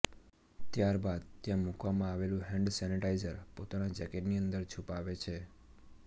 ત્યારબાદ ત્યાં મૂકવામાં આવેલું હેન્ડ સેનિટાઈઝર પોતાના જેકેટની અંદર છુપાવે છે